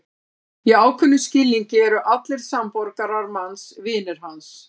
Í ákveðnum skilningi eru allir samborgarar manns vinir hans.